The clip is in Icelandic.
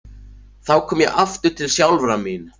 Þá kom ég aftur til sjálfrar mín.